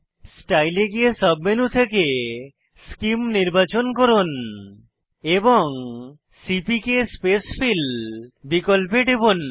style এ গিয়ে sub menu থেকে সেমে নির্বাচন করুন এবং সিপিকে স্পেসফিল বিকল্পে টিপুন